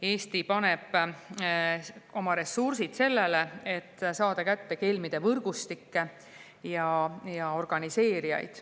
Eesti paneb oma ressursid sellesse, et saada kätte kelmide võrgustikke ja organiseerijaid.